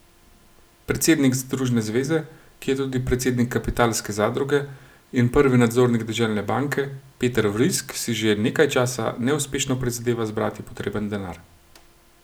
Predsednik zadružne zveze, ki je tudi predsednik kapitalske zadruge in prvi nadzornik deželne banke, Peter Vrisk si že nekaj časa neuspešno prizadeva zbrati potreben denar.